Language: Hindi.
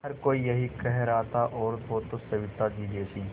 हर कोई यही कह रहा था औरत हो तो सविताजी जैसी